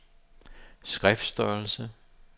skriftstørrelse